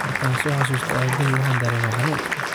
Marka so xasusto abahey waxan darema hanun.